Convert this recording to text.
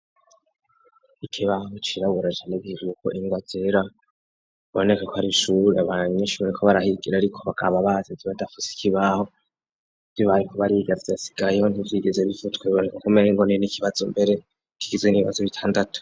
Ikibaho ciraburajanigija wuko ingoa zera boneka ko ari ishuri abaranyishure ko barahigira, ariko bakaba bazizibadafuse ikibaho vibaye kuba arigavyasigayeho ntivyigeze bivutweboneka kumereingonio n'ikibazo mbere kigize n'ibibazo bitandatu.